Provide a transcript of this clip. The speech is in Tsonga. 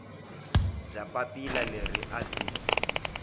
bya papila leri a byi